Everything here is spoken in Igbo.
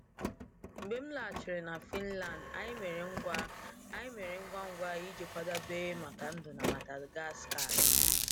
Mgbe m lọghachiri na Finland, anyị mere ngwa anyị mere ngwa ngwa iji kwadebe maka ndụ na Madagascar.